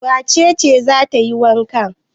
Wace ce za ta yi wanka?